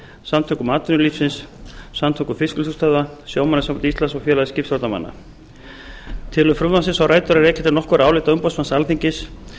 samtökum atvinnulífsins samtökum fiskvinnslustöðva sjómannasambandi íslands og félagi skipstjórnarmanna tilurð frumvarpsins á rætur að rekja til nokkurra álita umboðsmanns alþingis þar sem